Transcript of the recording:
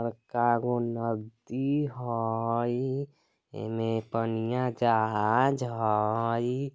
बड़का गो नदी हय ए में पनिया जहाज हय।